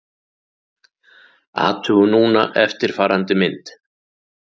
Athugum núna eftirfarandi mynd: